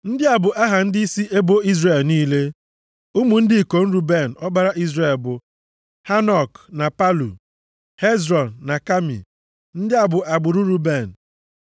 Ndị a bụ aha ndịisi ebo Izrel niile. Ụmụ ndị ikom Ruben, ọkpara Izrel bụ, Hanok na Palu, Hezrọn na Kami. Ndị a bụ agbụrụ Ruben.